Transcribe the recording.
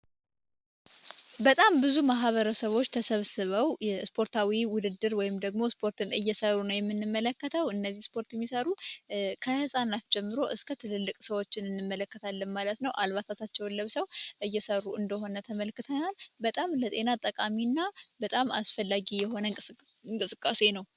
በጣም ብዙ ማህበረሰቦች ተሰብስበው ስፓትታዊ ውድድር ወይም ስፖርት እየሰሩ ነው ምንመለከተው እነዚህ ስፖርት የሚሰሩ ከትንንሽ ጀምሮ እስከ ትልልቅ ሰዎችን እንመለከታለን ማለት ነው። አልባሳታቸው ለብሰው እየሰሩ እንደሆነ ተመልክተናል ማለት ነው። ለጤና በጣም ጠቃሚ እና አስፈላጊ እንቅስቃሴ ነው።